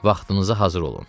Vaxtınıza hazır olun.